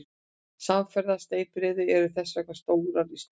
Samfarir steypireyða eru þess vegna stórar í sniðum.